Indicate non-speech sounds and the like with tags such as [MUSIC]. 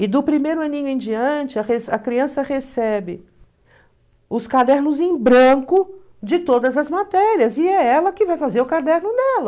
E do primeiro aninho em diante, [UNINTELLIGIBLE] a criança recebe os cadernos em branco de todas as matérias, e é ela que vai fazer o caderno dela.